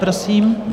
Prosím.